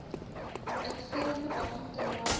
uitvoerende beampte naam